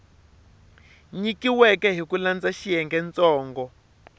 nyikiweke hi ku landza xiyengentsongo